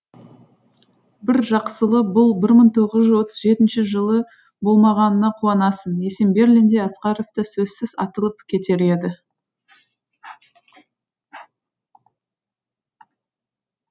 бір бұл мың тоғыз жүз отыз жетінші жыл болмағанына қуанасың есенберлин де асқаров та сөзсіз атылып кетер еді